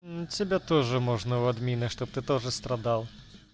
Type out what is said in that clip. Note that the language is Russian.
тебя тоже можно в админа чтобы ты тоже страдал